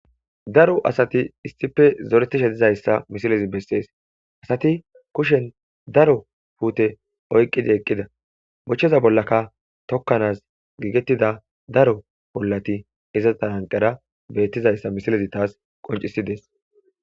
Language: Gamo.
Daro asathi issipe zoreththishe dizayssa misilezi bessees; ha asathi kushen daro puuthe oyqqidi eqqida; bochoza bollakka tokkanaas giigeththida daro bollathi iza tharan tharan beeththizayssa misilezi thaassi qonccissi des.